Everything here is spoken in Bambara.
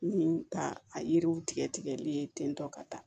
Ni ka a yiriw tigɛ tigɛli ye ten tɔ ka taa